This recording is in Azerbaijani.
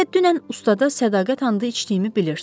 Elə dünən ustada sədaqət andı içdiyimi bilirsiz.